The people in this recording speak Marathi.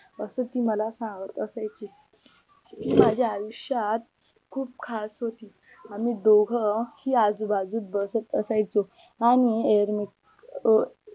असं ती मला सांगत असायची ती माझ्या आयुष्यात खूप खास होती आम्ही दोघं ही आजूबाजूत बसत असायचो आणि अं